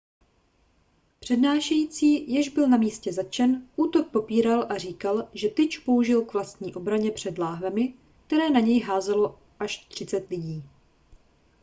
přednášející jež byl na místě zatčen útok popíral a říkal že tyč použil k vlastní obraně před láhvemi které na něj házelo až třicet lidí